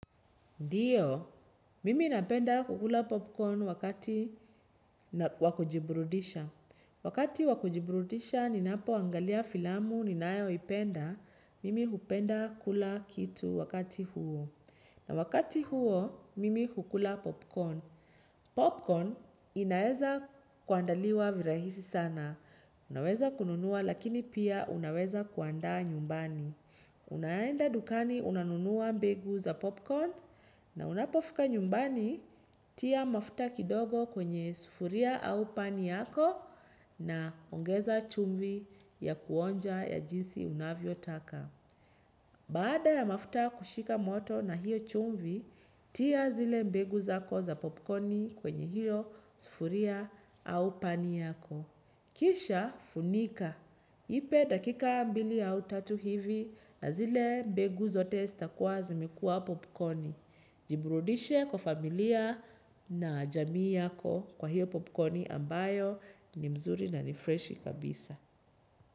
Ndiyo, mimi napenda kukula popcorn wakati wakujiburudisha. Wakati wakujiburudisha ninapo angalia filamu ninayo ipenda, mimi hupenda kula kitu wakati huo. Na wakati huo, mimi hukula popcorn. Popcorn inaeza kuandaliwa virahisi sana. Unaweza kununua lakini pia unaweza kuanda nyumbani. Unaenda dukani unanunuwa mbegu za popcorn na unapofika nyumbani tia mafuta kidogo kwenye sufuria au pani yako na ongeza chumvi ya kuonja ya jinsi unavyo taka. Baada ya mafuta kushika moto na hiyo chumvi, tia zile mbegu zako za popcorni kwenye hiyo sufuria au pani yako. Kisha funika. Ipe dakika mbili au tatu hivi na zile mbegu zote stakuwa zimekua popcorni. Jiburudishe kwa familia na jamii yako kwa hiyo popcorni ambayo ni mzuri na nifreshi kabisa.